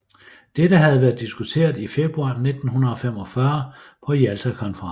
Dette havde været diskuteret i februar 1945 på Jaltakonferencen